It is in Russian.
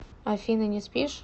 афина не спишь